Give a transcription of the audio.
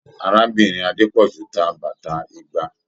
Arábìnrin Adepoju tá bàtà igba.